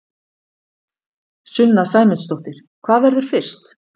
Sunna Sæmundsdóttir: Hvað verður fyrst?